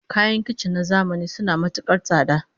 Kayan kicin na zamani suna matukar tsada